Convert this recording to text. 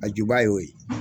A ju ba ye'o ye.